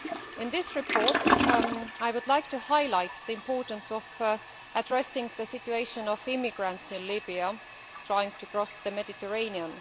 Regarding this report, I would like to highlight the importance of addressing the situation of immigrants in Libya trying to cross the Mediterranean.